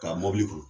K'a mɔbili kɔnɔ